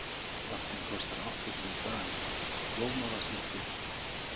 Lampinn kostar áttatíu dali, blómavasinn fjörutíu.